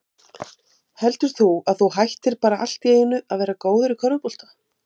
Þetta gekk eftir og við gengum neðan úr bæ inn í Umferðarmiðstöð.